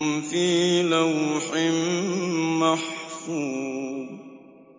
فِي لَوْحٍ مَّحْفُوظٍ